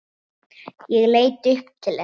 Ég leit upp til hennar.